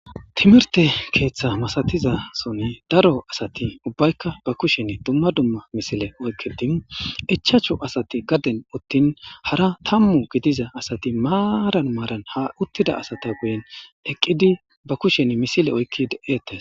timirte keeththa masatizasonne daro asati ubbaykka ba kushen dumma dumma misile oykki dimu ichachu asati gaden uttin hara tammu gidiza asati maaran maaran ha uttida asata guyen eqqidi ba kushen misile oykki de7ettes